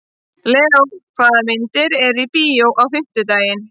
Leo, hvaða myndir eru í bíó á fimmtudaginn?